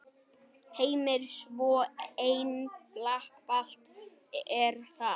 Heimir: Svo einfalt er það?